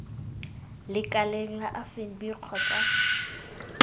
lekaleng la absa fnb kgotsa